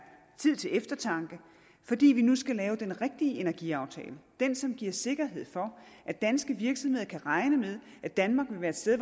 tid til eftertanke fordi vi nu skal lave den rigtige energiaftale den som giver sikkerhed for at danske virksomheder kan regne med at danmark vil være et sted